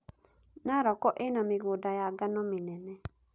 Narok ĩna mĩgũnda ya ngano mĩnene.